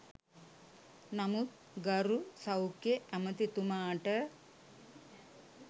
නමුත් ගරු සෞඛ්‍ය ඇමතිතුමාට